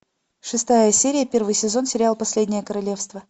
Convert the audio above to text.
шестая серия первый сезон сериал последнее королевство